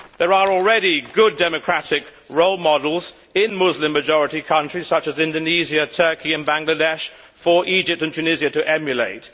There are already good democratic role models in Muslim majority countries, such as Indonesia, Turkey and Bangladesh, for Egypt and Tunisia to emulate.